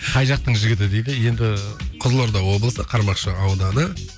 қай жақтың жігіті дейді енді қызылорда облысы қармақшы ауданы